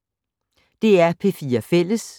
DR P4 Fælles